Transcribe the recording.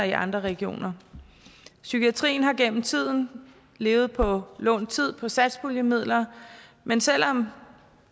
i andre regioner psykiatrien har igennem tiden levet på lånt tid på satspuljemidler men selv om